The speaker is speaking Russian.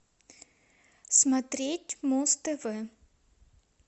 смотреть муз тв